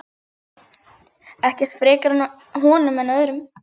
Ekkert frekar honum en öðrum.